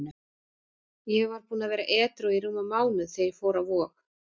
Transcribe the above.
Ég var búinn að vera edrú í rúman mánuð þegar ég fór á Vog.